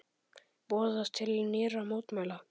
Boðað til nýrra mótmæla